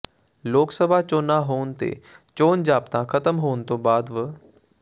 ਲੋਕ ਸਭਾ ਚੋਣਾਂ ਹੋਣ ਤੇ ਚੋਣ ਜ਼ਾਬਤਾ ਖ਼ਤਮ ਹੋਣ ਤੋਂ ਬਾਅਦ ਵ